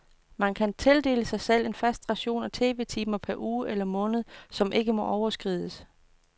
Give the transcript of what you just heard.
Man kan tildele sig selv en fast ration af tv-timer per uge eller måned, som ikke må overskrides.